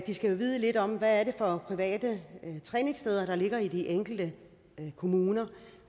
de skal jo vide lidt om hvad det er for private træningssteder der ligger i de enkelte kommuner